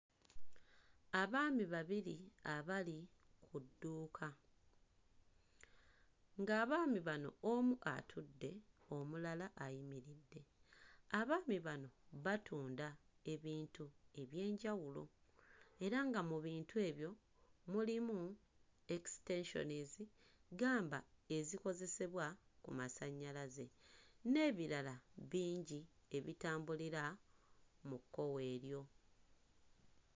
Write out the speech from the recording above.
Abaami babiri abali ku dduuka ng'abaami bano omu atudde omulala ayimiridde. Abaami bano batunda ebintu eby'enjawulo era nga mu bintu ebyo mulimu extensions gamba ezikozesebwa ku masannyalaze n'ebirala bingi ebitambulira mu kkowe eryo.